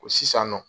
Ko sisan nɔ